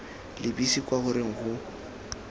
lebise kwa go reng go